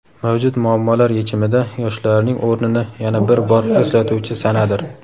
mavjud muammolar yechimida yoshlarning o‘rnini yana bir bor eslatuvchi sanadir.